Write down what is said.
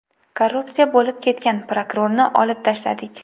Korrupsiya bo‘lib ketgan prokurorni olib tashladik.